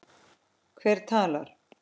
Hver talar?